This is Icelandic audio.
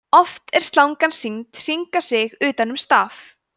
oft er slangan sýnd hringa sig utan um staf